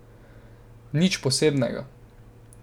Nič posebnega.